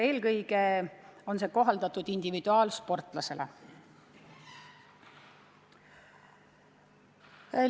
Eelkõige on see mõeldud kohalduma individuaalsportlaste puhul.